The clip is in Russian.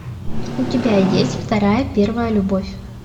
у тебя есть вторая первая любовь